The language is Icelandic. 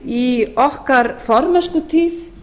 í okkar formennskutíð í